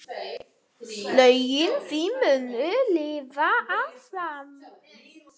Lögin þín munu lifa áfram.